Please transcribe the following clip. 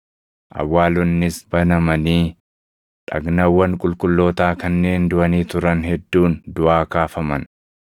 Awwaalonnis banamanii dhagnawwan qulqullootaa kanneen duʼanii turan hedduun duʼaa kaafaman.